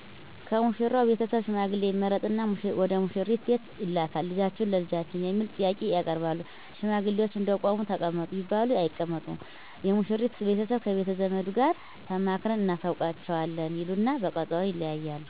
ከሙሽራው ቤተሰብ ሽማግሌ ይመረጥና ወደሙሽሪት ቤት ይላካል ልጃችሁን ለልጃችን የሚል ጥያቄ ያቀርባሉ ሽማግሌዎች እንደቆሙ ተቀመጡ ቢባሉም አይቀመጡም የሙሽሪት ቤተሰብ ከቤተዘመዱ ጋር ተማክረን እናሳውቃችዋለን ይሉና በቀጠሮ ይለያያሉ